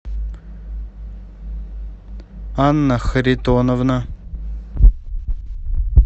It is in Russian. анна харитоновна